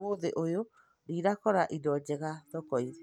Ũmũthĩ ũyũ ndinakora ĩndo njega thoko-inĩ